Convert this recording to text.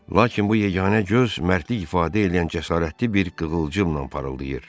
Lakin bu yeganə göz mərdlik ifadə eləyən cəsarətli bir qığılcımla parıldayırdı.